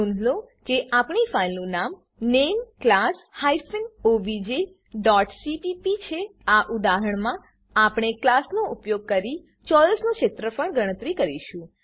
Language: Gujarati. નોંધ લો કે આપણી ફાઈલનું નામ નામે class hyphen O B J dot C P P name class hyphen O B J dot C P P છે આ ઉદાહરણમાં આપણે ક્લાસનો ઉપયોગ કરી ચોરસનું ક્ષેત્રફળ ગણતરી કરીશું